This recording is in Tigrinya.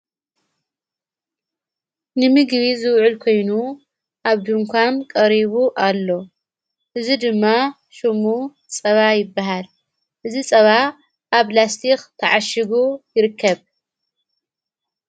ንምግቢ ዝውዕል ኮይኑ ኣብ ድንኳም ቀሪቡ ኣሎ እዝ ድማ ሹሙ ጸባ ይበሃል እዝ ጸባ ኣብ ላስቲኽ ተዓሽጉ ይርከብ::